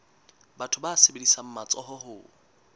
batho ba sebedisang matsoho ho